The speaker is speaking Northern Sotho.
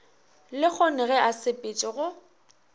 lehono ge a sepetše go